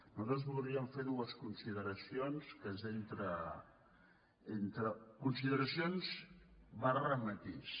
nosaltres voldríem fer dues consideracions que són entre consideracions matís